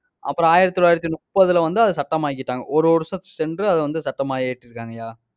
அப்புறம், ஆயிரத்தி தொள்ளாயிரத்தி முப்பதுல வந்து அதை சட்டமாக்கிட்டாங்க. ஒரு வருஷம் சென்று அதை வந்து சட்டமா இயற்றிருக்காங்கய்யா.